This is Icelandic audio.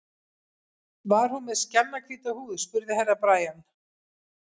Var hún með skjannahvíta húð, spurði Herra Brian.